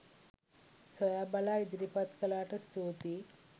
සොයා බලා ඉදිරිපත් කළාට ස්තුතියි